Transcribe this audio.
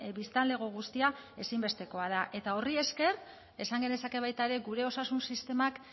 biztanlego guztia ezinbestekoa da eta horri esker esan genezake baita ere gure osasun sistemak